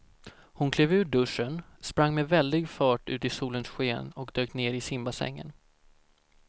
Hon klev ur duschen, sprang med väldig fart ut i solens sken och dök ner i simbassängen.